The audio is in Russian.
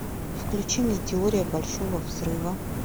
включи мне теория большого взрыва